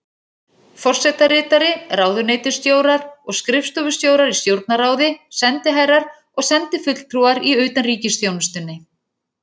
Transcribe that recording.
Forsetaritari, ráðuneytisstjórar og skrifstofustjórar í Stjórnarráði, sendiherrar og sendifulltrúar í utanríkisþjónustunni.